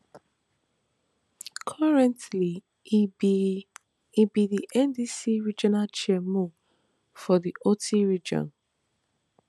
currently e be e be di ndc regional chairmo for di oti region